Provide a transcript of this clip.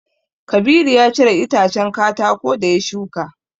Kabiru ya cire itacen katako da ya shuka.